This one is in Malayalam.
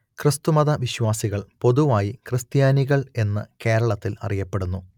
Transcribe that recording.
ക്രിസ്തുമത വിശ്വാസികൾ പൊതുവായി ക്രിസ്ത്യാനികൾ എന്ന് കേരളത്തിൽ അറിയപ്പെടുന്നു